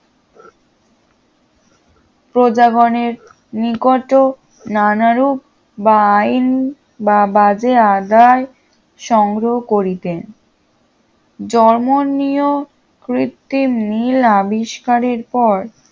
প্রজাগনের নিকট নানারুপ বা আইন বা বাজে আদায় সংগ্রহ করিতে জমরনিয় কৃত্তিম নীল আবিস্কারের পর